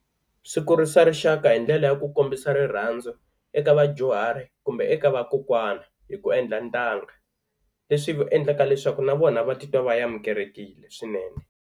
Swi kurisa rixaka hi ndlela ya ku kombisa rirhandzu eka vadyuhari kumbe eka vakokwana hi ku endla ntanga leswi endlaka leswaku na vona va titwa va amukelekile swinene.